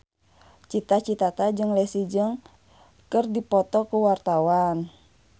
Cita Citata jeung Leslie Cheung keur dipoto ku wartawan